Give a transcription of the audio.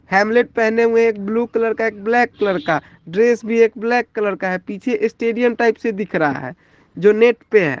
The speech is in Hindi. हेलमेट पहने हुए एक ब्लू कलर का एक ब्लैक कलर का ड्रेस भी एक ब्लैक कलर का है पीछे स्टेडियम टाइप से दिख रहा है जो नेट पे है।